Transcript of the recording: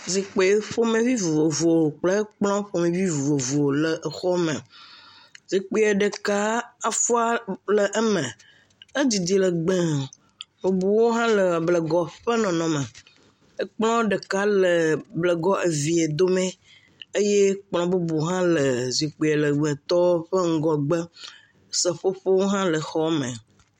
Zikpui ƒomevi vovovo kple kplɔ ƒomevi vovovo le xɔ aɖe me, zikpui ɖeka afɔa le eme, edidi legbee bubuwo hã le blegɔ ƒe nɔnɔme, kplɔ ɖeka le blegɔ evea dome eye kplɔ bubu hã zikpui legbetɔ ƒe ŋgɔgbe seƒoƒo hã le xɔa me.